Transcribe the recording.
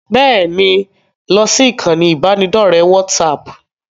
Bẹ́ẹ̀ni, lọ sí ìkànnì ibanidọ̀rẹ́ WhatsApp.